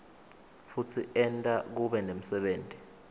futsi enta kube nemsebenti